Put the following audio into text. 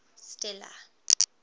stella